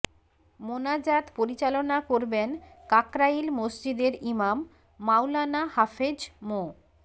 মোনাজাত পরিচালনা করবেন কাকরাইল মসজিদের ইমাম মাওলানা হাফেজ মো